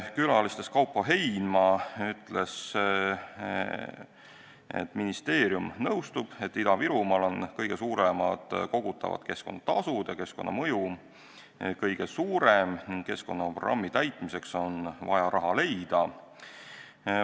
Külalistest ütles Kaupo Heinma, et ministeerium nõustub, et Ida-Virumaal kogutakse kõige rohkem keskkonnatasusid ja keskkonnamõju on seal kõige suurem ning keskkonnaprogrammi täitmiseks on vaja raha leida.